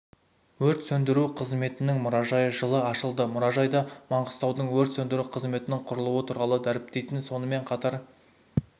өрт сөндіру қызметінің мұражайы жылы ашылды мұражайда маңғыстаудың өрт сөндіру қызметінің құрылуы туралы дәріптейтін сонымен қатар